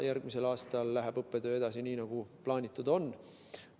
Järgmisel aastal läheb õppetöö edasi nii, nagu plaanitud on.